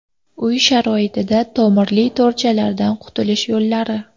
Uy sharoitida tomirli to‘rchalardan qutulish yo‘llari.